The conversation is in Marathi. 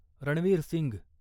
रणवीर सिंघ